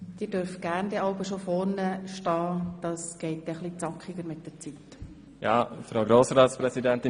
Sie dürfen jeweils gerne vorne bereit stehen, sodass wir die Zeit besser nutzen können.